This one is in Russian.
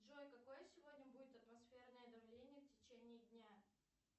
джой какое сегодня будет атмосферное давление в течении дня